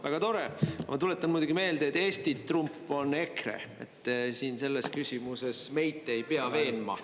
Väga tore, ma tuletan meelde, et Eesti trump on EKRE – selles küsimuses meid te ei pea veenma.